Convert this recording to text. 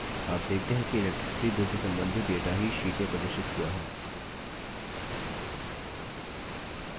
आप देखते है कि electricity bill से संबंधित data ही sheet में प्रदर्शित हुआ है